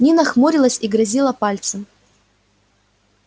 нина хмурилась и грозила пальцем